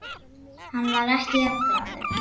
Hann var ekki jafn glaður.